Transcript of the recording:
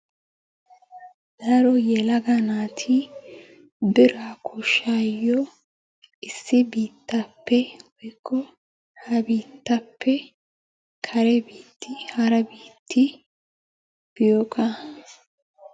Daro yelagga naati biraa koshshayo issi biittappe woyikko ha biitappe kare biiti hara biitta biyooga.